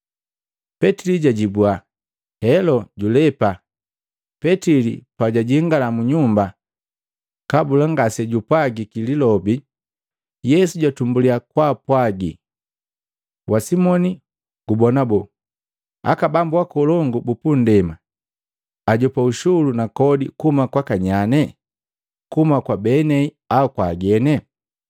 Petili jwajibua, “Helo, julepa.” Petili pajwajingala mu nyumba, kabula ngasejupwajiki lilobi, Yesu jatumbuliya kumpwagi, “Wa Simoni gubona boo? Aka bambu akolongu bupunndema ajopa ushulu na kodi kuhuma kwaka nyane? Kuhuma kwa benei au kwa agene?”